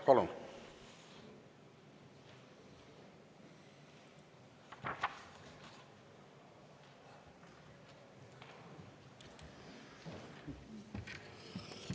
Palun!